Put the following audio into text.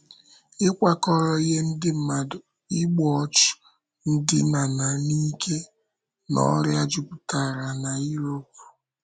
Ịkwakọrò ihe ndị mmadụ, igbu ọchụ, ndína n’ike, na ọrịa jupụtara na Europe.